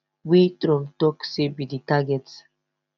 wey trump tok say be di target